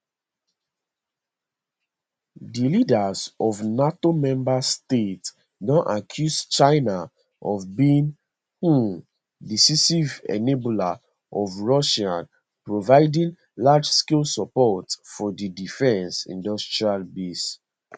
di leaders of nato members states don accuse china of being um decisive enabler of russia providing largescale support for di defence industrial base